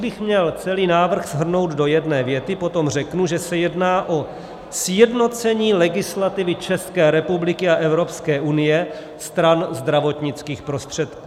Kdybych měl celý návrh shrnout do jedné věty, potom řeknu, že se jedná o sjednocení legislativy České republiky a Evropské unie stran zdravotnických prostředků.